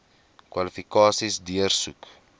kwalifikasies deursoek